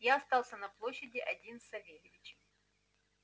я остался на площади один с савельичем